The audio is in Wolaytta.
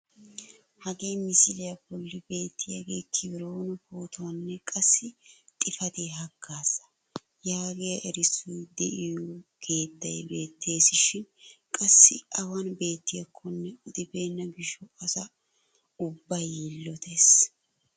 Hagee misiliyaa bolli beettiyaagee "kebiroone pootuwaanne qssi xifatiyaa haggazaa" yaagiyaa erissoy de'iyoo keettay beettisishin qassi awan beettiyaakonne odibenna gishshawu asa ubbay yillotees.